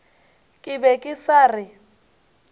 ke be ke sa re